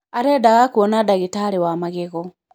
Arendaga kwona ndagitarĩ wa magego.